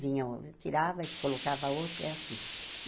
Vinha, tirava e colocava a outra, é assim.